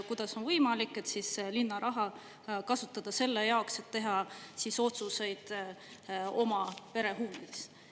Kuidas on võimalik, et linna raha kasutada selle jaoks, et teha otsuseid oma pere huvides?